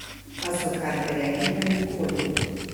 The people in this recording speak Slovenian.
Pa so karte rekle, da nikoli.